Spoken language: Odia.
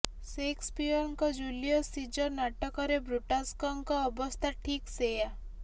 ସେକ୍ସପିଅରଙ୍କ ଜୁଲିଅସ ସିଜର ନାଟକରେ ବ୍ରୁଟାସ୍ଙ୍କ ଅବସ୍ଥା ଠିକ୍ ସେୟା